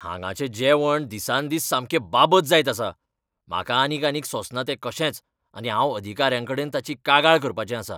हांगाचें जेवण दिसान दीस सामकें बाबत जायत आसा. म्हाका आनीक आनीक सोंसना तें कशेंच आनी हांव अधिकाऱ्यांकडेन ताची कागाळ करपाचें आसां.